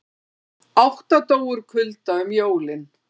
Átta dóu úr kulda um jólin